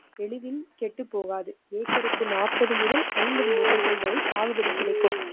எளிதின் கெட்டுப்போகாது. ஏக்கருக்கு நாற்பது முதல் ஐம்பது மூட்டைகள் வரை சாகுபடி கிடைக்கும்.